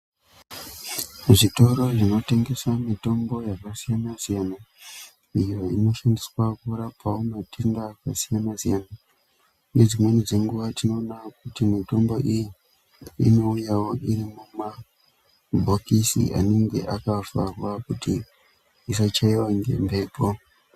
Zvitoro zvinotengese mitombo yakasiyana-siyana, iyo inoshandiswa kurapawo matenda akasiyana-siyana. Nedzimweni dzenguwa tinoona kuti mitombo iyi, inouyawo iri mumabhokisi anenge akavharwa kuti ,isachaiwa ngemphepo.